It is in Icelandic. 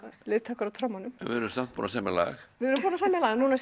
liðtækur á trommunum við erum samt búin að semja lag við erum búin að semja lag núna